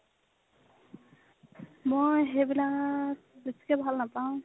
মই সেইবিলাক বেছিকে ভাল নাপাও